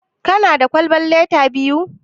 Kana da kwalban lita biyu?